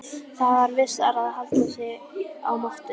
Það var vissara að halda sig á mottunni.